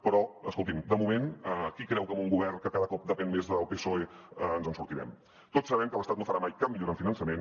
però escolti’m de moment qui creu que amb un govern que cada cop depèn més del psoe ens en sortirem tots sabem que l’estat no farà mai cap millora en finançament